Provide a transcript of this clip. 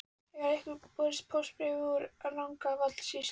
Hefur kannski borist póstbréf úr Rangárvallasýslu?